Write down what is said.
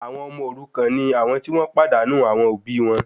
Àwọn ọmọ òrukan ni àwọn ti wọ́n pàdánù àwọn òbí wọn